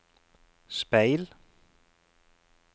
speil